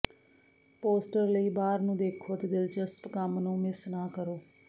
poster ਲਈ ਬਾਹਰ ਨੂੰ ਦੇਖੋ ਅਤੇ ਦਿਲਚਸਪ ਕੰਮ ਨੂੰ ਮਿਸ ਨਾ ਕਰੋ